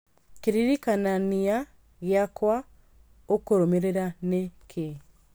kĩririkanania gĩakwa ũkũrũmĩrĩra nĩ kĩĩ